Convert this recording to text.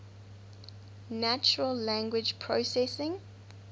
natural language processing